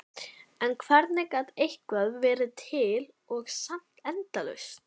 En hvernig gat eitthvað verið til og samt endalaust?